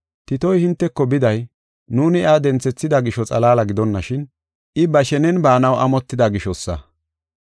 Titoy hinteko biday, nuuni iya denthethida gisho xalaala gidonashin, I ba shenen baanaw amotida gishosa.